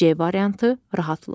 C variantı: Rahatlıq.